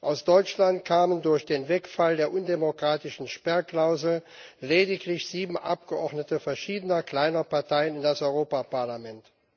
Aus Deutschland kamen durch den Wegfall der undemokratischen Sperrklausel lediglich sieben Abgeordnete verschiedener kleiner Parteien in das Europäische Parlament.